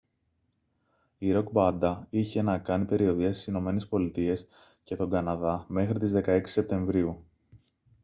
η ροκ μπάντα είχε να κάνει περιοδεία στις ηνωμένες πολιτείες και τον καναδά μέχρι τις 16 σεπτεμβρίου